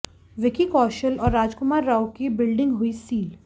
विक्की कौशल और राजकुमार राव की बिल्डिंग हुई सील